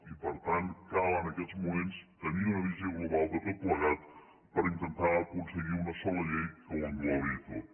i per tant cal en aquests moments tenir una visió global de tot plegat per intentar aconseguir una sola llei que ho englobi tot